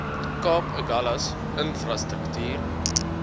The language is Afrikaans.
kaap agulhas infrastruktuur